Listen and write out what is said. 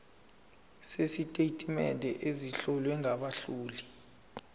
sezitatimende ezihlowe ngabahloli